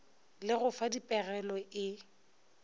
le go fa dipegelo e